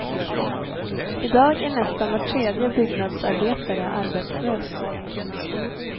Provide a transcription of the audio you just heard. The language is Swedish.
I dag är nästan var tredje byggnadsarbetare arbetslös.